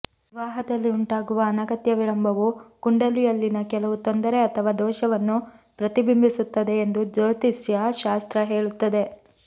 ವಿವಾಹದಲ್ಲಿ ಉಂಟಾಗುವ ಅನಗತ್ಯ ವಿಳಂಬವು ಕುಂಡಲಿಯಲ್ಲಿನ ಕೆಲವು ತೊಂದರೆ ಅಥವಾ ದೋಷವನ್ನು ಪ್ರತಿಬಿಂಬಿಸುತ್ತದೆ ಎಂದು ಜ್ಯೋತಿಷ್ಯ ಶಾಸ್ತ್ರ ಹೇಳುತ್ತದೆ